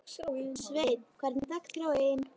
Sveinn, hvernig er dagskráin?